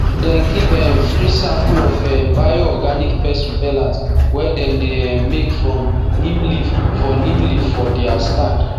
dem give um free sample of um bioorganic pest repellent wey dem um make from neem leaf for neem leaf for dia stand